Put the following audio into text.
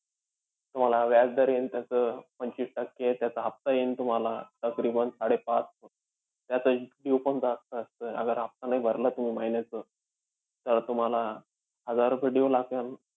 तुम्हाला व्याजदर येईन त्याचं पंचवीस टक्के. त्याचा हफ्ता येईन तुम्हाला ताकरीबांन साडेपाच. त्याचं due पण जास्त असतं. आगर हफ्ता नाही भरला तुम्ही महिन्याचं, तर तुम्हाला हजार रुपये due लागन.